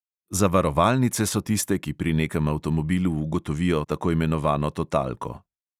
Zavarovalnice so tiste, ki pri nekem avtomobilu ugotovijo tako imenovano totalko.